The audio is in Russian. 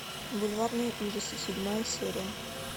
бульварные ужасы седьмая серия